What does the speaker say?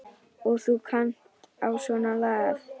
Og þú kannt á svona lagað.